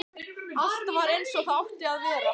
Allt var eins og það átti að vera.